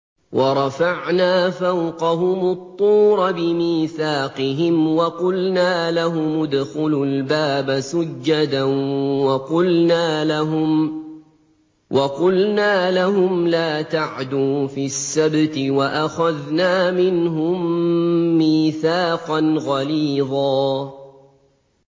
وَرَفَعْنَا فَوْقَهُمُ الطُّورَ بِمِيثَاقِهِمْ وَقُلْنَا لَهُمُ ادْخُلُوا الْبَابَ سُجَّدًا وَقُلْنَا لَهُمْ لَا تَعْدُوا فِي السَّبْتِ وَأَخَذْنَا مِنْهُم مِّيثَاقًا غَلِيظًا